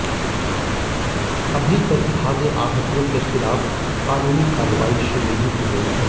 अभी तक भागे आढ़तियों के खिलाफ कानूनी कार्रवाई शुरू नहीं की गई है